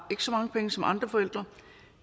så mange penge som andre forældre